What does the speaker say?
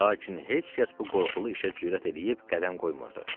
Lakin heç kəs bu qorxulu işə cürət eləyib qədəm qoymurdu.